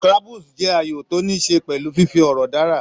Scrabbles jẹ́ ayò tó níí ṣe pẹ̀lú fífi ọ̀rọ̀ dárà.